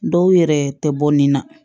Dɔw yɛrɛ tɛ bɔ nin na